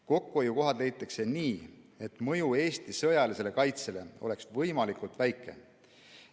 Kokkuhoiukohad leitakse nii, et mõju Eesti sõjalisele kaitsele oleks võimalikult väike.